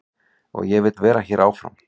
Og ég vil vera hér áfram.